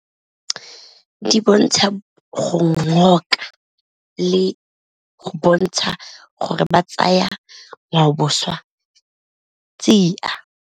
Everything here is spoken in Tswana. Di bontsha go ngoka le go bontsha gore ba tsaya ngwaoboswa tsia.